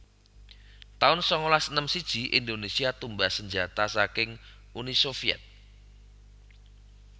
taun sangalas enem siji Indonésia tumbas sanjata saking Uni Sovyet